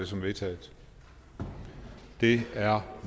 som vedtaget det er